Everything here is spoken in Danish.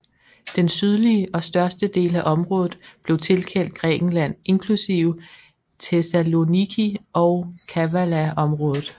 Den sydlige og største del af området blev tilkendt Grækenland inklusive Thessaloniki og Kavalaområdet